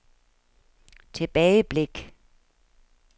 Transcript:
tilbageblik